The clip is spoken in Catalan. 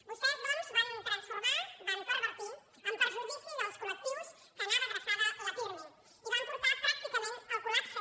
vostès doncs van transformar van pervertir en perjudici dels col·lectius a qui anava adreçat el pirmi i els van portar pràcticament al collapse